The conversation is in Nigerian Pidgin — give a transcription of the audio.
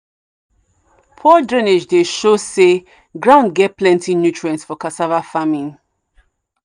poor drainage dey show say ground get plenty nutrients for cassava farming.